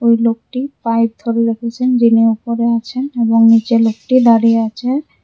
ওই লোকটি পাইপ ধরে রেখেছেন যিনি উপরে আছেন এবং নিচে লোকটি দাঁড়িয়ে আছে।